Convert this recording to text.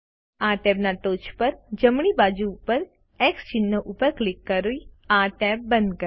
આ ટેબના ટોચ પર જમણી બાજુ ઉપર એક્સ ચિહ્ન પર ક્લિક કરી આ ટેબ બંધ કરો